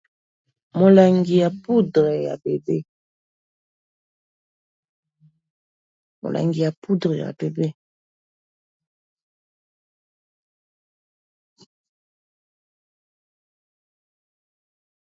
Molangi ya poudre ya bebe.